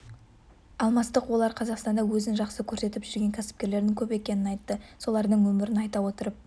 алмастық олар қазақстанда өзін жақсы көрсетіп жүрген кәсіпкерлердің көп екенін айтты солардың өмірін айта отырып